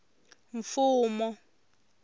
mfumo